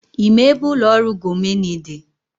Ị ma ebe ụlọ ọrụ Gomoney dị?